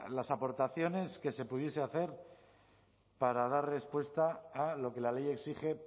las aportaciones que se pudiese hacer para dar respuesta a lo que la ley exige